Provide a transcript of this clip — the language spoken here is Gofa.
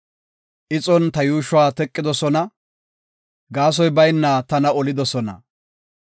Ixon ta yuushuwa teqidosona; gaasoy bayna tana olidosona.